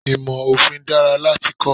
Ìmò Òfin dára láti kọ́.